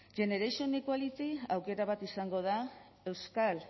generation equality aukera bat izango da euskal